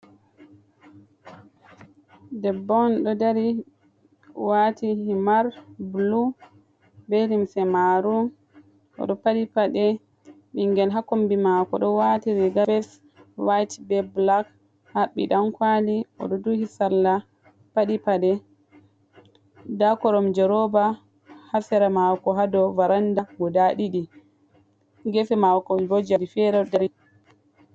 Debbo on ɗo dari wati himar bulu, be lumse maarum, oɗo paɗi paɗe, bingel hakombi mako do wati riga be soket white be black, habbi ɗankwali oɗo duhi salla paɗi pade, nda koromje roba hasere mako ha dow baranda guda ɗiɗi gefe mako bo jei fere ɗo dari.